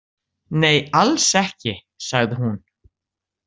Nei, alls ekki, sagði hún.